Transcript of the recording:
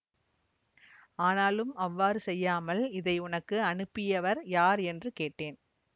ஆனாலும் அவ்வாறு செய்யாமல் இதை உனக்கு அனுப்பியவர் யார் என்று கேட்டேன்